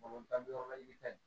Bamakɔ tan don la i bi ka ɲi